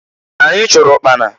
Anyị chụrụ ụkpana.